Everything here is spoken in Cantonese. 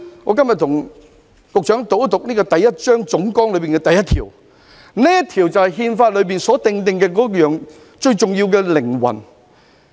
我今天向局長讀出《憲法》第一章總綱的第一條，因為這正是《憲法》最重要的靈魂。